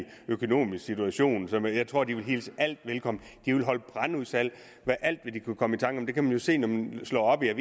økonomisk situation så jeg tror de ville hilse alt velkommen de ville holde brandudsalg af alt hvad de kunne komme i tanke om det kan man jo se når man slår op i en